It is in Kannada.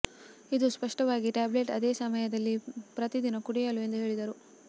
ಇದು ಸ್ಪಷ್ಟವಾಗಿ ಟ್ಯಾಬ್ಲೆಟ್ ಅದೇ ಸಮಯದಲ್ಲಿ ಪ್ರತಿದಿನ ಕುಡಿಯಲು ಎಂದು ಹೇಳಿದರು